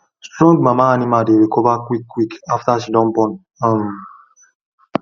strong mama animal dey recover quick quick after she don born um